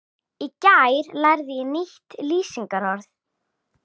Í gær lærði ég nýtt lýsingarorð.